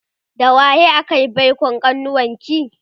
da waye akayi baikon kanuwarki?